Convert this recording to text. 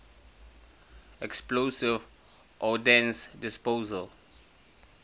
explosive ordnance disposal